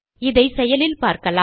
இதை செயலில் பார்க்கலாம்